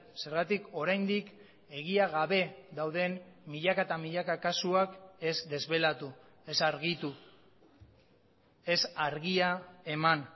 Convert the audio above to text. zergatik oraindik egia gabe dauden milaka eta milaka kasuak ez desbelatu ez argitu ez argia eman